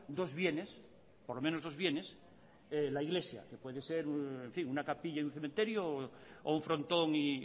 dos bienes por lo menos dos bienes la iglesia que puede ser una capilla y un cementerio o un frontón y